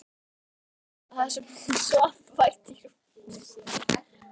Júlíu mína þar sem hún svaf vært í rúminu sínu.